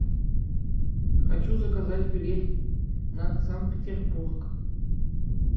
хочу заказать билет на санкт петербург